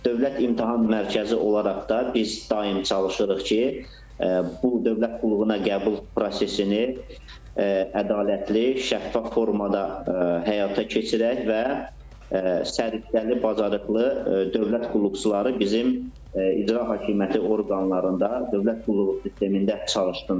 Dövlət İmtahan Mərkəzi olaraq da biz daim çalışırıq ki, bu dövlət qulluğuna qəbul prosesini ədalətli, şəffaf formada həyata keçirək və səriştəli, bacarıqlı dövlət qulluqçuları bizim İcra Hakimiyyəti orqanlarında, dövlət qulluğu sistemində çalışsınlar.